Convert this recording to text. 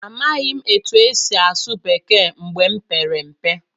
Amaghị m otú e si asụ Bekee mgbe m pere mpe.